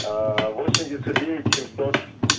восемь девятьсот девять семьсот